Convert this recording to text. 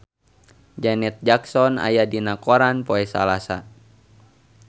Janet Jackson aya dina koran poe Salasa